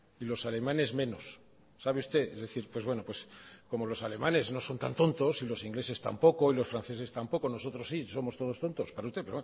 y los alemanes menos es decir pues bueno como los alemanes no son tan tontos y los ingleses tampoco y los franceses tampoco nosotros sí somos todos tontos para usted